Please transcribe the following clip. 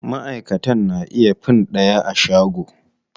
Maʼaikatan na iya fin ɗaya a shago.